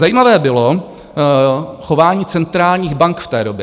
Zajímavé bylo chování centrálních bank v té době.